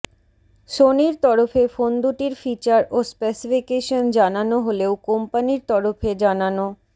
সোনির তরফে ফোনদুটির ফিচার ও স্পেসিফিকেশান জানানো হলেও কোম্পানির তরফে জানানো